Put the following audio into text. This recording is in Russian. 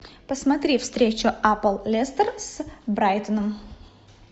посмотри встречу апл лестер с брайтоном